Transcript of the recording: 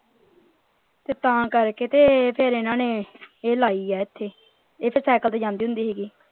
ਤੇ ਤਾਂ ਕਰਕੇ ਤੇ ਫੇਰ ਇਨ੍ਹਾਂ ਨੇ ਇਹ ਲਾਈ ਹੈ ਇਥੇ ਇਹ ਤਾਂ cycle ਤੇ ਜਾਂਦੀ ਹੁੰਦੀ ਸੀਗੀ।